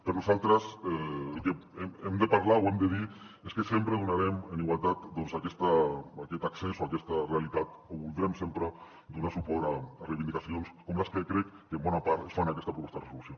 per nosaltres el que hem de parlar o hem de dir és que sempre donarem en igualtat aquest accés o aquesta realitat o voldrem sempre donar suport a reivindicacions com les que crec que en bona part es fan en aquesta proposta de resolució